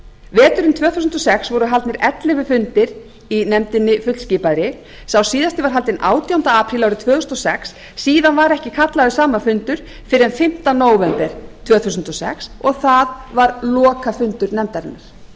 veturinn tvö þúsund og sex voru haldnir ellefu fundir í nefndinni fullskipaðri síðasti var haldin átjánda apríl árið tvö þúsund og sex síðan var ekki kallaður saman fundur fyrr en fimmta nóvember tvö þúsund og sex og það var lokafundur nefndarinnar á